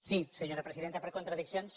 sí senyora presidenta per contradiccions